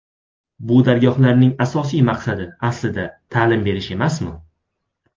Bu dargohlarning asosiy maqsadi aslida ta’lim berish emasmi?